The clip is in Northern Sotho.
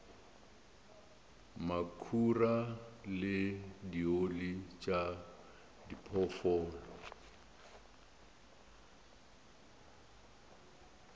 makhura le dioli tša diphoofolo